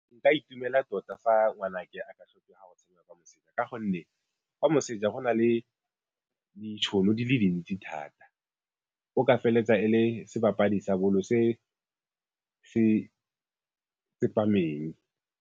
Nka itumela tota fa ngwanake a ka tlhokega go tshameka kwa moseja ka gonne kwa moseja go na le ditšhono di le dintsi thata, o ka feleletsa e le sebapadi sa bolo se se tsepameng.